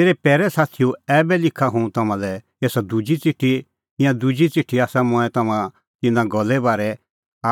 मेरै पैरै साथीओ ऐबै लिखा हुंह तम्हां लै एसा दुजी च़िठी ईंयां दुहै च़िठी आसा मंऐं तम्हां का तिन्नां गल्ले बारै